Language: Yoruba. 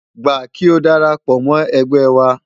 Gbà kí o dara pọ̀ mọ́ ẹgbẹ́ wa!